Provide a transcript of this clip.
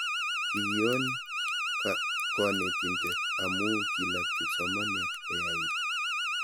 kikion koneetinte amu kilap kipsomanian koyait